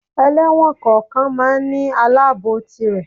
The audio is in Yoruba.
Ẹlẹ́wọ̀n kọ̀ọ̀kan lọ máa ń ní Aláàbòò tirè.